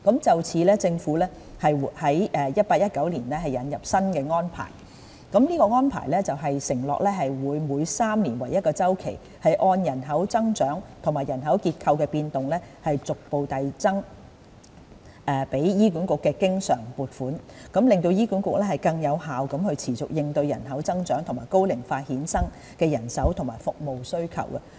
就此，政府於 2018-2019 年度引進新安排，承諾會每3年為1周期，按照人口增長和人口結構的變動，逐步遞增給予醫管局的經常撥款，讓醫管局能更有效地持續應對人口增長和高齡化衍生的人手和服務需求。